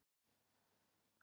Norðurljósadýrðar að vænta